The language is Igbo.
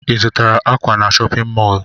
Ị zụtara ákwà na chọpịn mọọlụ?